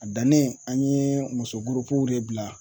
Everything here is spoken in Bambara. A dannen an ye musogurupuw de bila